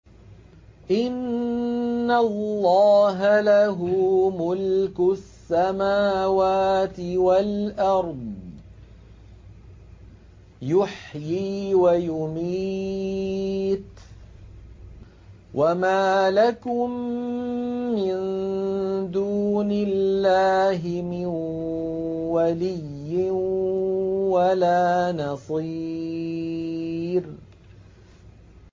إِنَّ اللَّهَ لَهُ مُلْكُ السَّمَاوَاتِ وَالْأَرْضِ ۖ يُحْيِي وَيُمِيتُ ۚ وَمَا لَكُم مِّن دُونِ اللَّهِ مِن وَلِيٍّ وَلَا نَصِيرٍ